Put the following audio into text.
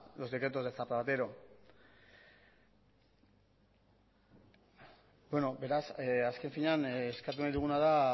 los decretos de zapatero azken finean eskatu nahi duguna da